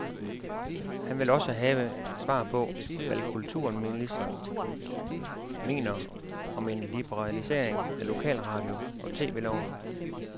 Han vil også have svar på, hvad kulturministeren mener om en liberalisering af lokalradio og tv loven.